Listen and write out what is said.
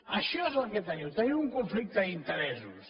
això és el que teniu teniu un conflicte d’interessos